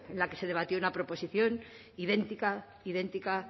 la que se debatió una proposición idéntica idéntica